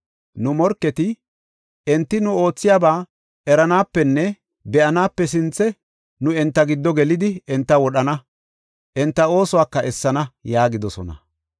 Nu morketi, “Enti nu oothiyaba eranaapenne be7anaape sinthe nu enta giddo gelidi enta wodhana; enta oosuwaka essana” yaagidosona.